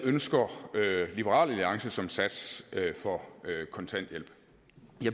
ønsker som sats for kontanthjælp